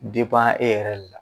e yɛrɛ de la